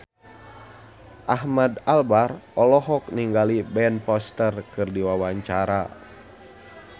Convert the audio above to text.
Ahmad Albar olohok ningali Ben Foster keur diwawancara